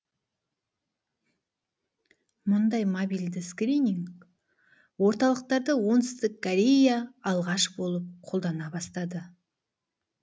мұндай мобильді скрининг орталықтарды оңтүстік корея алғаш болып қолдана бастады